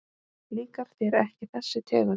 Líkar þér ekki þessi tegund?